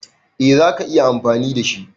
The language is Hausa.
Eh zaka iya amfani da shi.